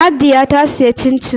Nadia ta sayi cin-cin